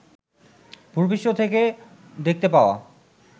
ভূপৃষ্ঠ থেকে দেখতে পাওয়া